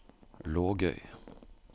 Lågøy